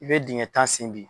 I bɛ dingɛ tan sen bi.